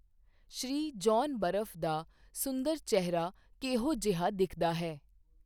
ਸ੍ਰੀ John ਬਰਫ਼ ਦਾ ਸੁੰਦਰ ਚਿਹਰਾ ਕਿਹੋ ਜਿਹਾ ਦਿਖਦਾ ਹੈ